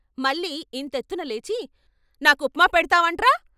మల్లి ఇంతెత్తునలేచి "నాకుప్మా పెడ్తావంట్రా....